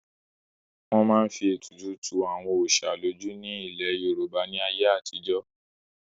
wọ́n máa ń fi ètùtù tu àwọn òsà lójú ni ní ilẹ̀ yorùbá ní ayé àtijọ́